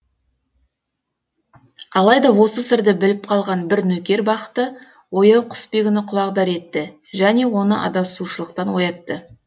алайда осы сырды біліп қалған бір нөкер бақыты ояу құсбегіні құлағдар етті және оны адасушылықтан оятты